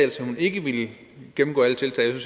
hun ikke ville gennemgå alle tiltag jeg